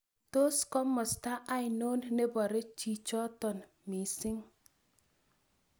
Tos' komosta ainon ne pore chichoton miising'